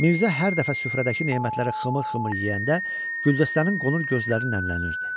Mirzə hər dəfə süfrədəki nemətləri xımır-xımır yeyəndə Güldəstənin qonur gözləri nəmlənirdi.